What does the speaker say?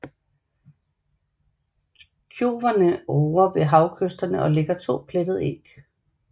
Kjoverne ruger ved havkysterne og lægger 2 plettede æg